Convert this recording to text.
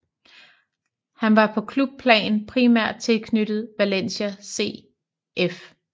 Han var på klubplan primært tilknyttet Valencia CF